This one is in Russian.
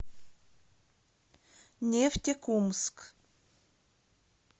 нефтекумск